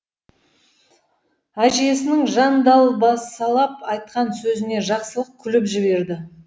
әжесінің жандалбасалап айтқан сөзіне жақсылық күліп жіберді